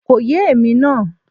Kò yé èmi náà